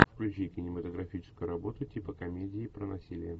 включи кинематографическую работу типа комедии про насилие